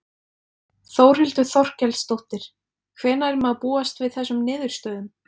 Þórhildur Þorkelsdóttir: Hvenær má búast við þessum niðurstöðum?